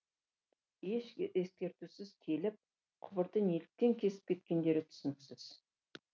еш ескертусіз келіп құбырды неліктен кесіп кеткендері түсініксіз